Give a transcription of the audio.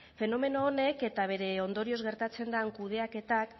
fenomeno honek eta bere ondorioz gertatzen den kudeaketak